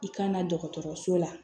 I kana dɔgɔtɔrɔso la